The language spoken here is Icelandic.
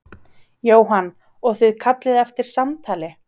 Jóhann: Og þið kallið eftir samtali?